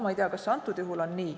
Ma ei tea, kas see antud juhul on nii.